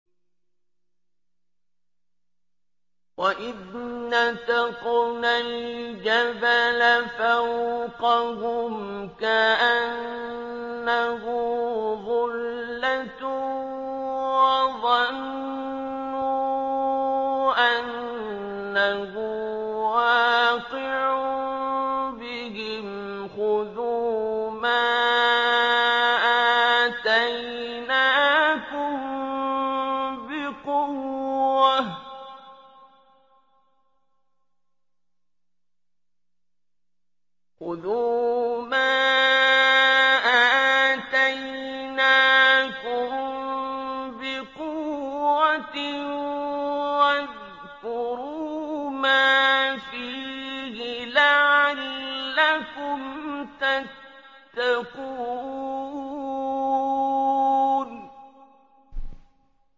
۞ وَإِذْ نَتَقْنَا الْجَبَلَ فَوْقَهُمْ كَأَنَّهُ ظُلَّةٌ وَظَنُّوا أَنَّهُ وَاقِعٌ بِهِمْ خُذُوا مَا آتَيْنَاكُم بِقُوَّةٍ وَاذْكُرُوا مَا فِيهِ لَعَلَّكُمْ تَتَّقُونَ